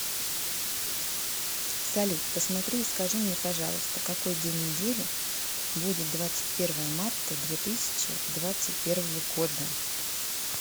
салют посмотри и скажи мне пожалуйста какой день недели будет двадцать первое марта две тысячи двадцать первого года